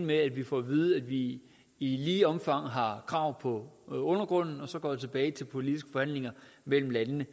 med at vi får at vide at vi i lige omfang har krav på undergrunden og så går vi tilbage til politiske forhandlinger mellem landene